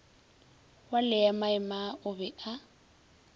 wa leemaema o be a